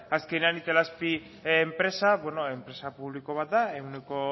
azkenean itelazpi enpresa enpresa publiko bat da ehuneko